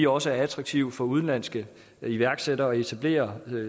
også er attraktivt for udenlandske iværksættere at etablere